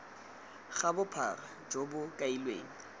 ga bophara jo bo kailweng